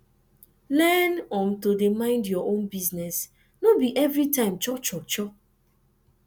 learn um to dey mind yur own business no bi evri time cho cho cho